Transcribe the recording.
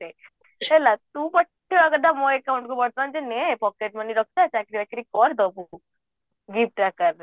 ମୋ account କୁ ବର୍ତ୍ତମାନ ଦିନେ pocket money ରଖିଥା ଚାକିରି ବାକିରି କରେ ଦବୁ ତୁ gift ଆକାରରେ